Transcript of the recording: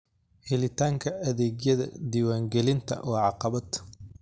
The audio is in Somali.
Helitaanka adeegyada diiwaangelinta waa caqabad.